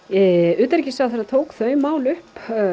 utanríkisráðherra tók þau mál upp